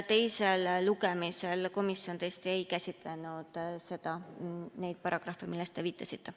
Teisel lugemisel komisjon tõesti ei käsitlenud neid paragrahve, millele te viitasite.